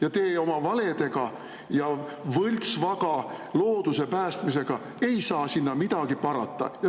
Ja teie oma valedega ja võltsvaga looduse päästmisega ei saa sinna midagi parata.